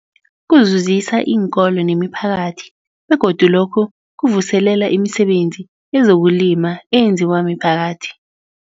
Kuzuzisa iinkolo nemiphakathi begodu lokhu kuvuselela imisebenzi yezokulima eyenziwa miphakathi.